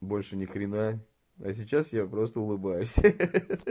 больше ни хрена а сейчас я просто улыбаюсь ха ха